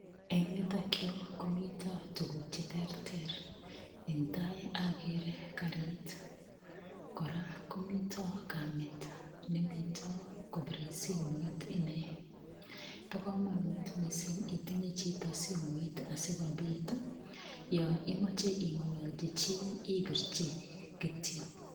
Eng' yutokyu komito tukuk cheterter eng' tai akere karit kora komito kamet nemito kobirei simoit ine bo komonut mising' itinye chito simoit asikobit yo imoche ing'ololji chi ipirchi kityo